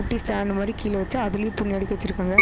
குட்டி ஸ்டாண்ட் மாரி கீழ வெச்சு அதுலயும் துணி அடுக்கி வெச்சுருக்காங்க.